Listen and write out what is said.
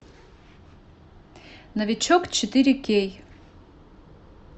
новичок четыре кей